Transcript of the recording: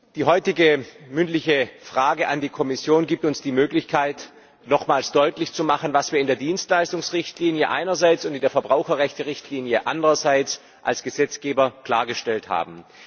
Die heutige mündliche Anfrage an die Kommission gibt uns die Möglichkeit, nochmals deutlich zu machen, was wir in der Dienstleistungsrichtlinie einerseits und in der Verbraucherrechterichtlinie andererseits als Gesetzgeber klargestellt haben.